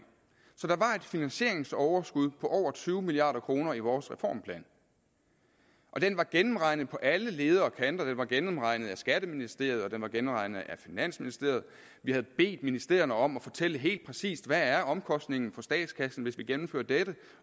finansieringsoverskud på over tyve milliard kroner i vores reformplan og den var gennemregnet på alle ledder og kanter den var gennemregnet af skatteministeriet og den var gennemregnet af finansministeriet vi havde bedt ministerierne om at fortælle helt præcist hvad omkostningen for statskassen hvis vi gennemførte dette